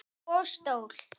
Og stól.